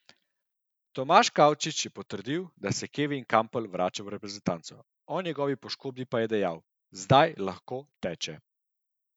Tomaž Kavčič je potrdil, da se Kevin Kampl vrača v reprezentanco, o njegovi poškodbi pa dejal: "Zdaj lahko teče.